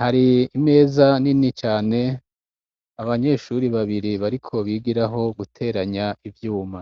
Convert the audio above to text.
hari imeza nini cane abanyeshuri babiri bariko bigirako guteranya ivyuma.